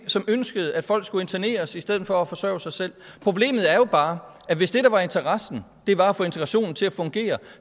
som ønskede at folk skulle interneres i stedet for forsørge sig selv problemet er jo bare at hvis det der var interessen var at få integrationen til at fungere